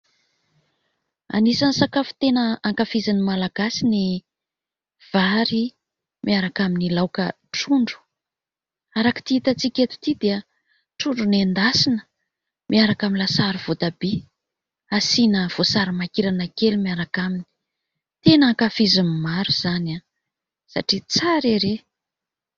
Anisan'ny sakafo tena ankafizin'ny Malagasy ny vary miaraka amin'ny laoka trondro. Araka ity hita tsika eto ity dia trondro nendasina miaraka amin'ny lasary voatabia asiana voasary makirana kely miaraka aminy. Tena ankafizin'ny maro izany satria tsara ery !